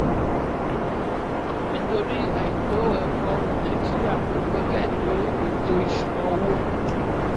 nítorí àìtó ẹ̀kọ́ ọmọ nàìjíríà kò gbẹ́kẹ̀lé ètò ìṣúnná owó.